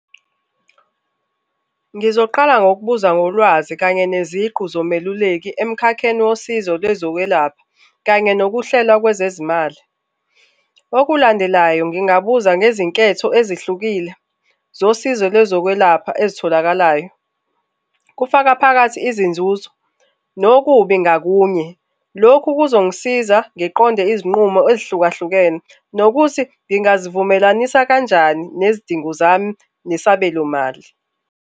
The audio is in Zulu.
Ngizoqala ngokubuza ngolwazi kanye neziqu nomeluleki emkhakheni wosizo lwezokwelapha kanye nokuhlela kwezezimali. Okulandelayo ngingabuza ngezinketho ezihlukile zosizo lwezokwelapha ezitholakalayo, kufaka phakathi izinzuzo nokubi ngakunye. Lokhu kuzongisiza ngiqonde izinqumo ezihlukahlukene nokuthi ngingazivumelanisa kanjani nezidingo zami nesabelomali.